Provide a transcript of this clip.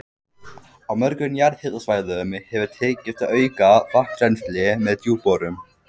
Á mörgum jarðhitasvæðum hefur tekist að auka vatnsrennsli með djúpborunum.